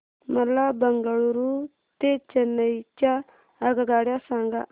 मला बंगळुरू ते चेन्नई च्या आगगाड्या सांगा